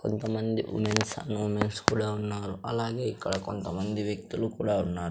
కొంతమంది womens and mens కూడా ఉన్నారు అలాగే ఇక్కడ కొంతమంది వ్యక్తులు కూడా ఉన్నారు.